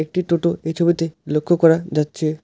একটি টোটো এই ছবিতে লক্ষ্য করা যাচ্ছে।